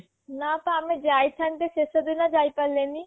ନା ପା ଆମେ ଯାଇ ଥାନ୍ତେ ସେଷ ଦିନ ଯାଇ ପାରଲେନି